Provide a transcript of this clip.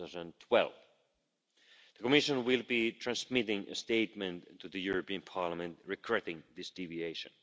2012. The Commission will be transmitting a statement to the European Parliament regretting this deviation.